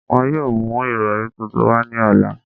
Wọn yoo mu irọri tuntun wa ni ọla